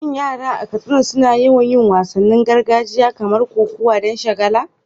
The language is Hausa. Shin yara a Katsina suna yawan yin wasannin gargajiya kamar kokawa don shagala?